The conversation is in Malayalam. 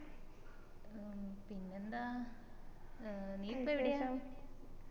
ഉം പിന്നെ എന്താ ഏർ നീ ഇപ്പം എവിടെയാ